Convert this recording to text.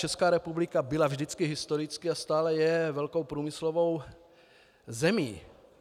Česká republika byla vždycky historicky a stále je velkou průmyslovou zemí.